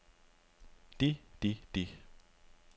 de de de